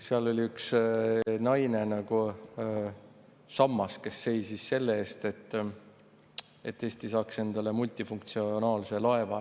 Seal üks naine nagu sammas seisis selle eest, et Eesti saaks endale multifunktsionaalse laeva.